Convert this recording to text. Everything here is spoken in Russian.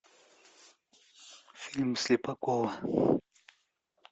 фильм слепакова